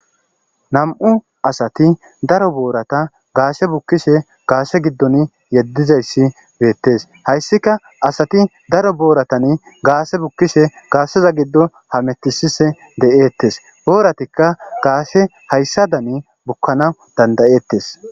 nam7u asati daro boorata gaase bukkishe gaase giddon yeddizayssi beettes hayssika asati daro booratan gaase bukkishe gaaseza giddo hametisise de7eettes booratikka gaase hayssa dani bukkana dandayeettes